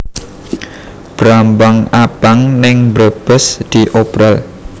Brambang abang ning Brebes diobral